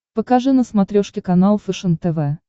покажи на смотрешке канал фэшен тв